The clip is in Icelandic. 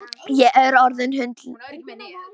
Ég er orðin hundleið á því!